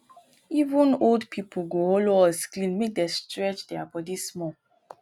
even old people go hollow us clean make dey stretch their body small